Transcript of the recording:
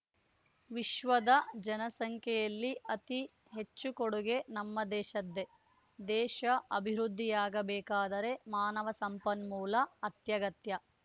ವಿಶ್ವದ ಜನ ಸಂಖ್ಯೆಯಲ್ಲಿ ಅತಿ ಹೆಚ್ಚು ಕೊಡುಗೆ ನಮ್ಮ ದೇಶದ್ದೆ ದೇಶ ಅಭಿವೃದ್ಧಿಯಾಗಬೇಕಾದರೆ ಮಾನವ ಸಂಪನ್ಮೂಲ ಅತ್ಯಗತ್ಯ